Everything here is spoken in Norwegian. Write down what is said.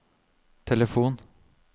telefon